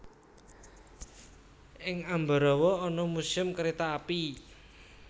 Ing Ambarawa ana Museum Kereta Api